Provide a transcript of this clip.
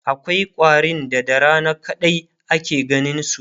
akwai ƙwarin da da Rana kadai ake ganinsu